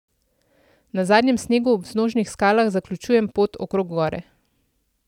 Na zadnjem snegu ob vznožnih skalah zaključujem pot okrog gore.